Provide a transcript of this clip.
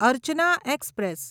Archana express